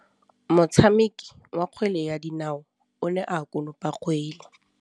Motshameki wa kgwele ya dinaô o ne a konopa kgwele.